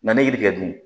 N'an ye yiri kɛ dun